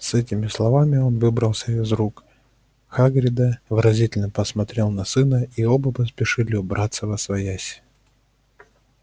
с этими словами он выбрался из рук хагрида выразительно посмотрел на сына и оба поспешили убраться восвояси